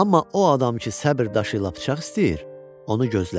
Amma o adam ki səbr daşı ilə bıçaq istəyir, onu gözlə.